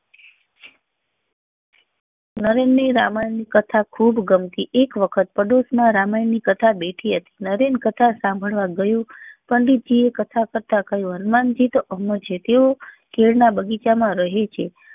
નરેન ને રામાયણ ની કથા ખુબ ગમતી હતી એક વખત પડોશ માં રામાયણ ની કથા બેથી હતી નરેન કથા સાંભળવા ગયો પંડિત જી એ કથા કરતા કહ્યું હનુમાનજી તો અમર છે તેઓ કેળ ના બગીચા માં રહે છે